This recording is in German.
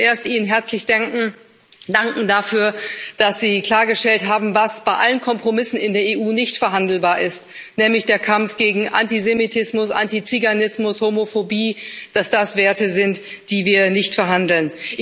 Ich möchte zuerst Ihnen herzlich danken dafür, dass Sie klargestellt haben, was bei allen Kompromissen in der EU nicht verhandelbar ist, nämlich der Kampf gegen Antisemitismus, Antiziganismus, Homophobie, dass das Werte sind, über die wir nicht verhandeln.